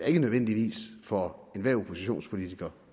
ikke nødvendigvis for enhver oppositionspolitiker